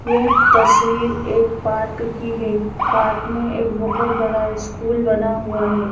यह तस्वीर एक पार्क की है पार्क में एक बहुत बड़ा स्कूल बना हुआ है।